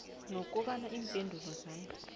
nokobana iimpendulo zami